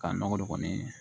Ka nɔgɔ don kɔni